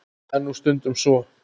Það er nú stundum svo.